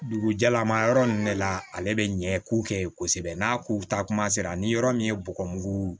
Dugu jɛlama yɔrɔ ninnu de la ale bɛ ɲɛ k'u kɛ ye kosɛbɛ n'a kow taa kuma sera ni yɔrɔ min ye bɔgɔmugu